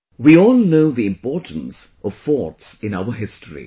We all know the importance of forts in our history